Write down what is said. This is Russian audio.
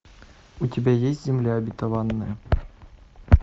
у тебя есть земля обетованная